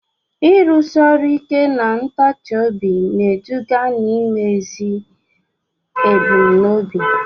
Ịrụsi ọrụ ike na ntachi obi na-eduga n'imezu ebumnobi.